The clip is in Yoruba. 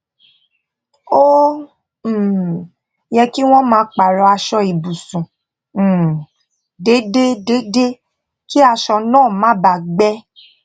ó um yẹ kí wón máa pààrò aṣọ ibùsùn um déédé déédé kí aṣọ náà má bàa gbẹ